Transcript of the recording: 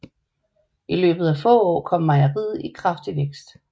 I løbet af få år kom mejeriet i kraftig vækst